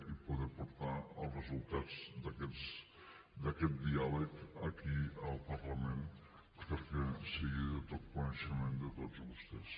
i poder portar els resultats d’aquest diàleg aquí al parlament perquè sigui de tot coneixement de tots vostès